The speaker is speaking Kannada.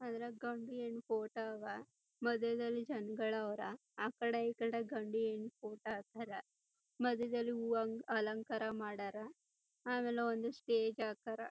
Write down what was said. ಆದ್ರೆ ಗಂಡು ಹೆಣ್ಣ್ ಫೋಟೋ ಅವ ಮದ್ಯ ದಲ್ಲಿ ಜನ್ಗಳ್ ಆವ್ರ ಆಕಡೆ ಈಕಡೆ ಗಂಡು ಹೆಣ್ ಫೋಟೋ ಹಾಕಾರ ಮಧ್ಯದಲ್ಲಿ ಹೂವ್ ಅಲಂಕಾರ ಮಾಡರ ಆಮೇಲೆ ಒಂದ್ ಸ್ಟೇಜ್ ಹಾಕರ.